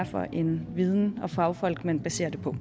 for en viden og fagfolk man baserer det på